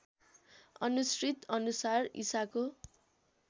अनुश्रित अनुसार इशाको